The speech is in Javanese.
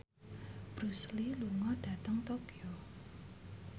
Bruce Lee lunga dhateng Tokyo